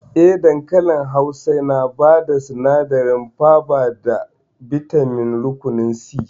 Eh, dankali Hausa yana bada sinadarin faba da bitamin rukunin C